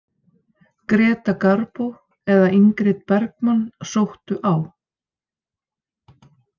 Greta Garbo eða Ingrid Bergmann sóttu á.